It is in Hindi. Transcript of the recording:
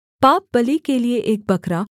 पापबलि के लिये एक बकरा